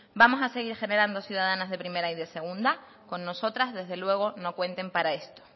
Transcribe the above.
vamos a seguir generando ciudadanas de primera y de segunda con nosotras desde luego no cuenten para esto